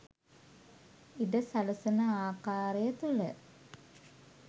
ඉඩ සලසන ආකාරය තුළ